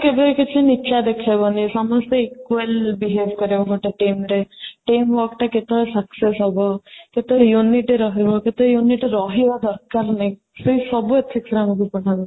କେବେ କିଛି ନିଚା ଦେଖାଇବନି ସମସ୍ତେ equal behave କରେଇବ ଗୋଟେ team ରେ team work ଟା କେତେବେଳେ success ହବ କେତେ unit ରହିବ କେତେ unit ରହିବା ଦରକାର ନାହିଁ ସେସବୁ ethic ରେ ପଢା ହୁଏ